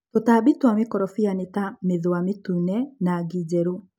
Tũtambi cia mĩkorobia nĩta mĩthũa mĩtune, ngi njerũ.